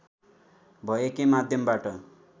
भयकै माध्यमबाट